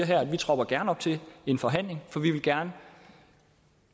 gerne tropper op til en forhandling for vi vil gerne